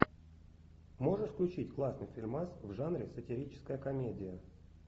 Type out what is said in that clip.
можешь включить классный фильмас в жанре сатирическая комедия